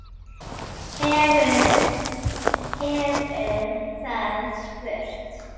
hefur það spurt.